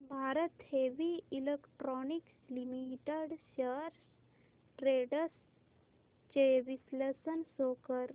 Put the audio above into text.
Bharat heavy electricals limited shares trends चे विश्लेषण show कर